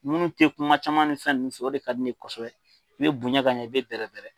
Munnu tɛ kuma caman ni fɛn nun fɛ o de ka di ne ye kosɛbɛ i bɛ bonya ka ɲɛ i bɛ bɛrɛ bɛrɛ.